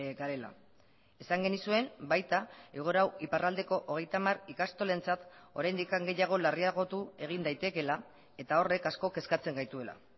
garela esan genizuen baita egoera hau iparraldeko hogeita hamar ikastolentzat oraindik gehiago larriagotu egin daitekeela eta horrek asko kezkatzen gaituela